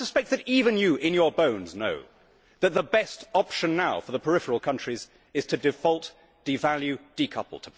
I suspect that even you in your bones know that the best option now for the peripheral countries is to default, devalue, decouple.